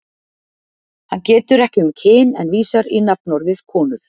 Hann getur ekki um kyn en vísar í nafnorðið konur.